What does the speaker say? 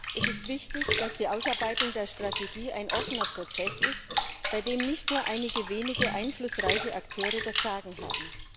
Es ist wichtig, dass die Ausarbeitung der Strategie ein offener Prozess ist, bei dem nicht nur einige wenige einflussreiche Akteure das Sagen haben.